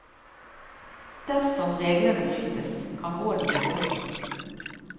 Dersom reglene brytes, kan rådet gi bøter.